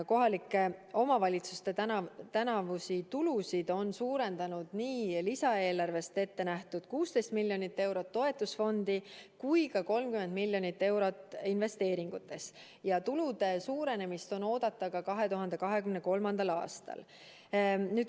Kohalike omavalitsuste tänavusi tulusid on suurendanud nii lisaeelarvest ette nähtud 16 miljoni eurone toetusfond kui ka 30 miljonit eurot investeeringutest ja tulude suurenemist on oodata ka 2023. aastal.